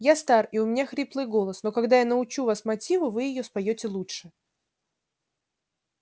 я стар и у меня хриплый голос но когда я научу вас мотиву вы её споёте лучше